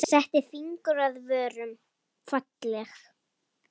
Setti fingur að vörum.